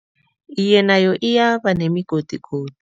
Iye, nayo iyaba nemigodigodi.